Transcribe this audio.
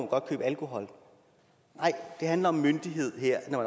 godt købe alkohol nej det handler om myndighed her når